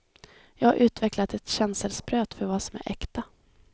Jag har utvecklat ett känselspröt för vad som är äkta.